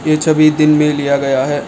ये छबि दीन मे लिया गया है।